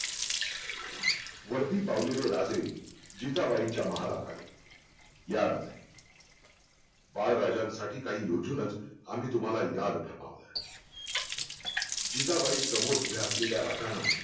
वर्दी पावलेले राजे जिजाबाईंच्या महालात आले या राजे बाळ राजांसाठी काही योजूनच आम्ही तुम्हाला याद फर्मावलं जिजाबाई समोर उभा असलेल्या राजांना